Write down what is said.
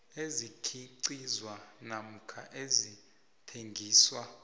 ezikhiqizwa namkha ezithengiswa